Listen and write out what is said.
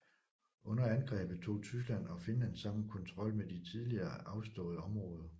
Under angrebet tog Tyskland og Finland sammen kontrol med de tidligere afståede områder